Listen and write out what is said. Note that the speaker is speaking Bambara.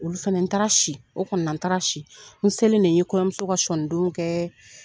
Olu fana n taara si o kɔni na n taara si n selen de ye kɔɲɔmuso ka sɔnindonw kɛ